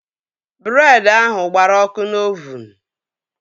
Breed ahụ gbara ọkụ n'ovuun